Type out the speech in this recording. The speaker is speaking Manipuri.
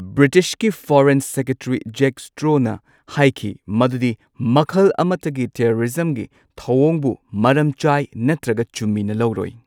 ꯕ꯭ꯔꯤꯇꯤꯁꯀꯤ ꯐꯣꯔꯦꯟ ꯁꯦꯀ꯭ꯔꯦꯇꯔꯤ ꯖꯦꯛ ꯁ꯭ꯇ꯭ꯔꯣꯅ ꯍꯥꯏꯈꯤ ꯃꯗꯨꯗꯤ ꯃꯈꯜ ꯑꯃꯠꯇꯒꯤ ꯇꯦꯔꯣꯔꯤꯖꯝꯒꯤ ꯊꯧꯑꯣꯡꯕꯨ ꯃꯔꯝ ꯆꯥꯢ ꯅꯠꯇ꯭ꯔꯒ ꯆꯨꯝꯃꯤꯅ ꯂꯧꯔꯣꯢ꯫